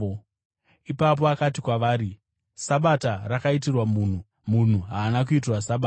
Ipapo akati kwavari, “Sabata rakaitirwa munhu, munhu haana kuitirwa Sabata.